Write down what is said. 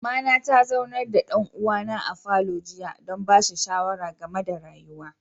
Mama na ta zaunar da dan'uwa na a falo jiya dan bashi shawara game da rayuwa.